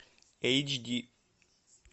эйч ди